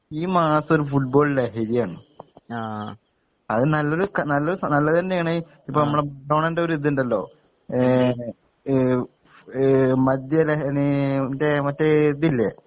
ഈ മാസൊരു ഫുട്ബോൾ ലഹരിയാണ് അത് നല്ലൊരു ക നല്ലൊരു നല്ലതന്നെയാണ് ഇപ്പം മറഡോണന്റൊര്ത്ണ്ടല്ലോ ഏ ഏ മദ്യലഹരി മറ്റേ മറ്റേ ഇതില്ലേ